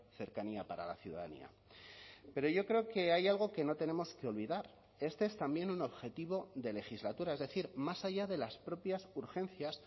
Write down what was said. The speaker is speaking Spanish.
cercanía para la ciudadanía pero yo creo que hay algo que no tenemos que olvidar este es también un objetivo de legislatura es decir más allá de las propias urgencias